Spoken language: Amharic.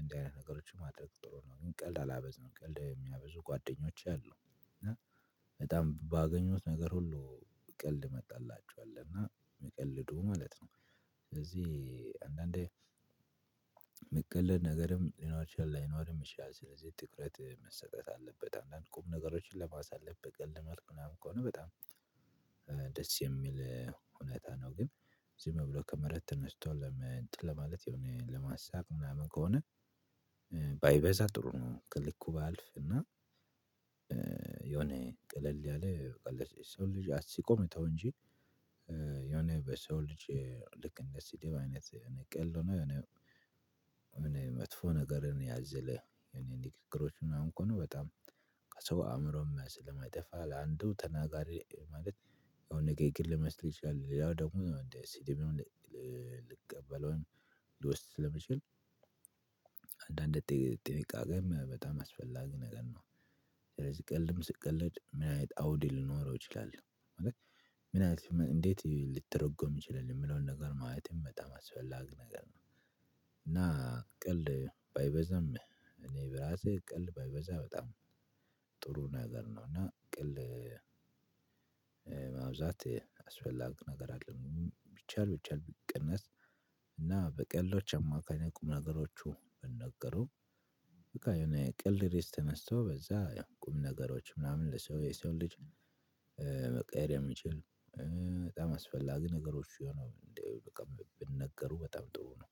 እንዲህ አይነት ነገሮችን ማድረግ ጥሎ ነው ግን ቀልድ አላበዛም ቀልድ የሚያበዙ ጓደኞች አሉ። በጣም ባገኙት ነገር ሁሉ ቀልድ መጣላችኋል እና የሚቀልዱ ማለት ነው። ስለዚህ አንዳንዴ የሚቀልድ ነገርም ሊኖር ይችላል ላይኖርም ይችላል ስለዚህ ትኩረት መሰጠት አለበት አንዳንድ ቁም ነገሮችን ለማሳለፍ በቀልድ መልኩ ምናምን ከሆነ በጣም ደስ የሚል እውነትታ ነው። ግን ዝም ብሎ ከመሬት ተነስቶ ለመንጥ ለማለት የሆነ ለማሳቅ ምናምን ከሆነ ባይበዛ ጥሩ ነው። ከልኩ ባያልፍ እና የሆነ ቀለል ያለ ሰው ልጅ አስቆ መተው እንጂ የሆነ በሰው ልጅ ልክ እንደስድብ ቀልድ ሆነ የሆነ መጥፎ ነገርን ያዘለ እኔ ንግግሮች ምናምን እኮ ነው። በጣም ከሰው አእምሮም ላይ ስለማይጠፋ ለአንዱ ተናጋሪ ማለት የሆነ ንግግር ልመስል ይችላል። ሌላው ደግሞ እንዴ ስድብ ልቀበለው ሊወስድ ስለምችል። አንዳንድ ጥንቃቄም በጣም አስፈላጊ ነገር ነው። ስለዚህ ቀልድም ስቀልድ ምን አይነት አውድ ሊኖረው ይችላል? ምን አይነት እንዴት ሊተረጎም ይችላል የሚለውን ነገር ማየት በጣም አስፈላጊ ነገር ነው። እና ቀልድ ባይበዛም እኔ በራሴ ቀልድ ባይበዛ በጣም ጥሩ ነገር ነው። እና ቀልድ ማብዛት አስፈላጊ ነገር አደለም ቢቻል ቢቻል ቢቀነስ። እና በቀልዶች አማካኝ ቁም ነገሮቹ ቢነገሩ። በቃ የሆነ ቀልድ ርዕስ ተነስቶ በዛ ያው ቁም ነገሮች ምናምን ለሰው የሰው ልጅ መቀየር የሚችል በጣም አስፈላጊ ነገሮች የሆኑ እንደው በቃ ቢነገሩ በጣም ጥሩ ነው።